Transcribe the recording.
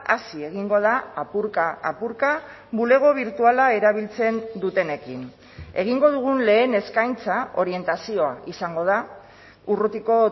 hazi egingo da apurka apurka bulego birtuala erabiltzen dutenekin egingo dugun lehen eskaintza orientazioa izango da urrutiko